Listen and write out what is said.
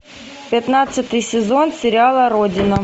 пятнадцатый сезон сериала родина